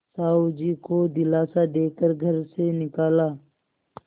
साहु जी को दिलासा दे कर घर से निकाला